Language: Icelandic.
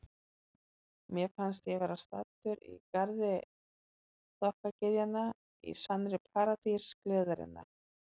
Mér fannst ég vera staddur í garði þokkagyðjanna, í sannri paradís gleðinnar.